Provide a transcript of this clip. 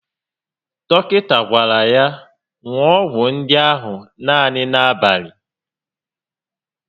Dọkịta gwara ya ṅụọ ọgwụ ndị ahụ naanị n'abalị